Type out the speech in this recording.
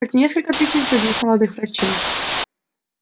как несколько тысяч других молодых врачей